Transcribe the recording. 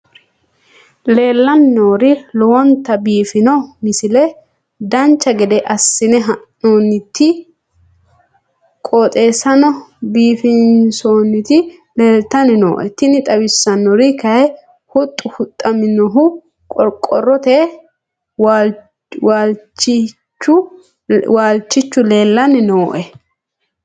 leellanni nooeri lowonta biiffino misile dancha gede assine haa'noonniti qooxeessano biiffinoti leeltanni nooe tini xawissannori kayi huxxu huxxinoonnihu qoqorrote waalchihu leellanni nooe